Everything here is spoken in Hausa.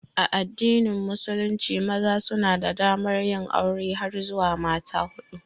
A addinin musulunci, maza suna da damar yin aure har zuwa mata hudu.